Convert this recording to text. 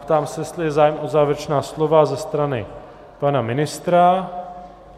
Ptám se, jestli je zájem o závěrečná slova ze strany pana ministra.